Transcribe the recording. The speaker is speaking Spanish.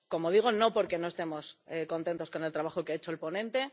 Como digo, no porque no estemos contentos con el trabajo que han hecho los ponentes